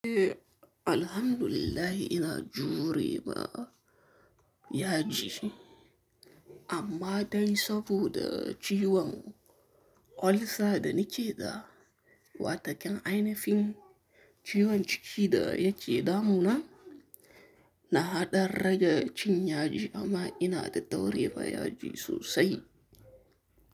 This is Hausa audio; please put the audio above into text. Eh alhamdulillah ina jurewa yaji amma dai saboda ciwon olsa da naƙe da, wataƙan ainifin ciwon ciki da yake da mu na, na haɗar rage cinya ji amma ina da tauri fa yaji sosai.